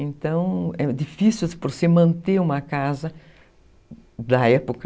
Então, é difícil você manter uma casa da época.